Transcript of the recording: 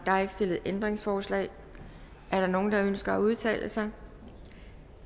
er ikke stillet ændringsforslag er der nogen der ønsker at udtale sig